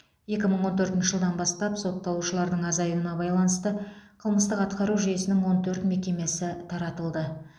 екі мың он төртінші жылдан бастап сотталушылардың азаюына байланысты қылмыстық атқару жүйесінің он төрт мекемесі таратылды